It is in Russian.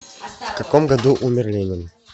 в каком году умер ленин